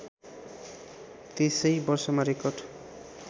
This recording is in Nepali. त्यसै वर्षमा रेकर्ड